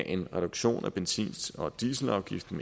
en reduktion af benzin og dieselafgiften